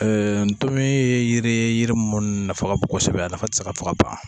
Ɛɛ ntomi ye yiri ye yiri min nafa ka bon kosɛbɛ a nafa te se ka fɔ ka ban